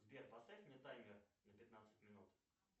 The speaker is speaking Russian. сбер поставь мне таймер на пятнадцать минут